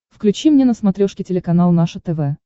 включи мне на смотрешке телеканал наше тв